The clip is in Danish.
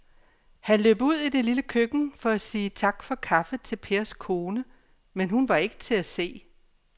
Han løb ud i det lille køkken for at sige tak for kaffe til Pers kone, men hun var ikke til at se.